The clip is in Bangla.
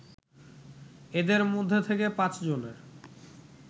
এদের মধ্যে থেকে ৫ জনের